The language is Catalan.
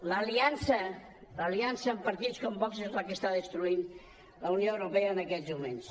l’aliança amb partits com vox és la que està destruint la unió europea en aquests moments